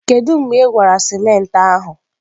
Kedu mgbe ị gwara simenti ahụ?